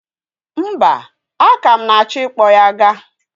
Mba, aka m na-achọ ịkpọ ya ga.